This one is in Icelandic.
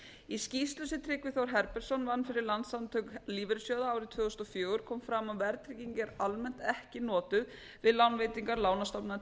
í skýrslu sem tryggvi þór herbertsson vann fyrir landssamtök lífeyrissjóða árið tvö þúsund og fjögur kom fram að verðtrygging er almennt ekki notuð við lánveitingar lánastofnana